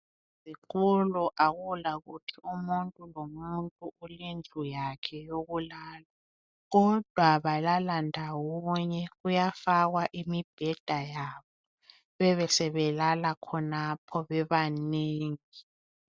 Ezikolo akula kuthi umuntu lomuntu ulendlu yakhe yokulala. Kodwa balala ndawonye kuyafakwa imibheda yabo bebesebelala khonapho bebamengi.